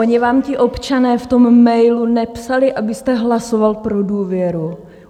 Oni vám ti občané v tom mailu nepsali, abyste hlasoval pro důvěru.